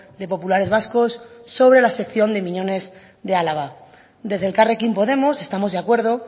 de populares vascos sobre la sección de miñones de álava desde elkarrekin podemos estamos de acuerdo